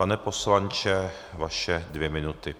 Pane poslanče, vaše dvě minuty.